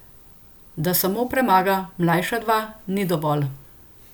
Da samo premaga mlajša dva, ni dovolj.